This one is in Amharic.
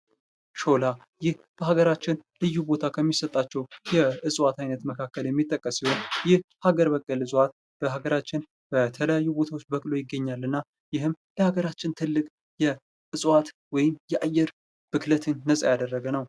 ሾላ ዛፍ በሀገራችን ልዩ ቦታ ከእጽዋት አይነት መካከል የሚጠቀሰው ይህ ሀገር በቀል እፅዋት በሀገራችን በተለያዩ ቦታዎች በቅሎ ይገኛል እና ይህም የሀገራችን ትልቅ እጽዋት ወይ አየር ብክለትን ነፃ ያደረገ ነው።